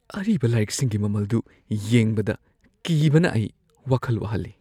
ꯑꯔꯤꯕ ꯂꯥꯏꯔꯤꯛꯁꯤꯡꯒꯤ ꯃꯃꯜꯗꯨ ꯌꯦꯡꯕꯗ ꯀꯤꯕꯅ ꯑꯩ ꯋꯥꯈꯜ ꯋꯥꯍꯜꯂꯤ ꯫